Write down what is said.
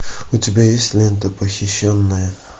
у тебя есть лента похищенная